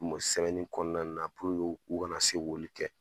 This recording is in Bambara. sɛbɛnni kɔnɔna na puruke u u kana se k'olu kɛ.